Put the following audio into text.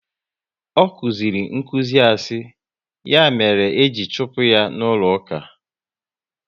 Ọ kụziri nkụzi asị, ya mere e ji chụpụ ya n'ụlọ uka